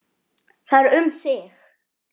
Það er um þig.